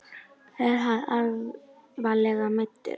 Er hann alvarlega meiddur?